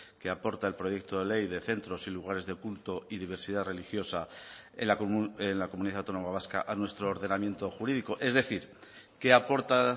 que aporta el proyecto de ley de centros y lugares de culto y diversidad religiosa en la comunidad autónoma vasca a nuestro ordenamiento jurídico es decir qué aporta